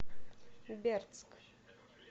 бердск